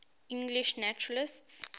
english naturalists